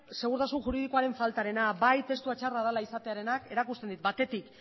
segurtasun juridikoaren faltarena bai testua txarra izatearenak erakusten dit batetik